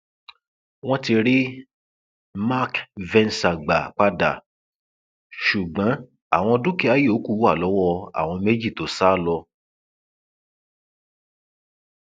wọn ti rí mark venza gbà padà ṣùgbọn àwọn dúkìá yòókù wà lọwọ àwọn méjì tó sá lọ